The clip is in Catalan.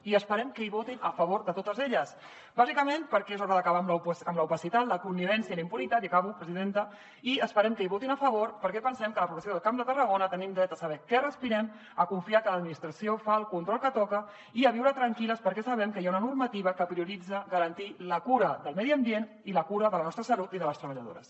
i esperem que votin a favor de totes elles bàsicament perquè és hora d’acabar amb l’opacitat la connivència i la impunitat i acabo presidenta i esperem que hi votin a favor perquè pensem que la població del camp de tarragona tenim dret a saber què respirem a confiar que l’administració fa el control que toca i a viure tranquil·les perquè sabem que hi ha una normativa que prioritza garantir la cura del medi ambient i la cura de la nostra salut i de les treballadores